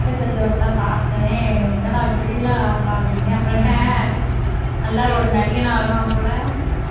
status வெச்சவுடனே தான் பார்த்தேன் என்னடா இப்படியெல்லாம் ஆடுறான் அப்படின்னு அப்புறம் என்ன நல்லா ஒரு நடிகனா வருவான் போல